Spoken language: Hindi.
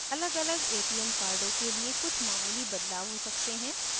अलगअलग atm cards के लिए कुछ मामूली बदलाव हो सकते हैं